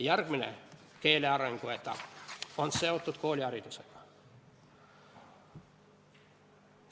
Järgmine keelearengu etapp on seotud kooliharidusega.